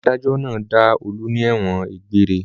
Adájọ́ náà dá Olú ní ẹ̀wọ̀n egbére.